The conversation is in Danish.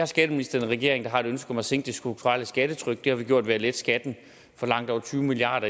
skatteminister i en regering der har et ønske om at sænke det strukturelle skattetryk det har vi gjort ved at lette skatten for langt over tyve milliard